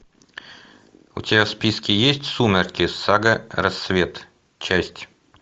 у тебя в списке есть сумерки сага рассвет часть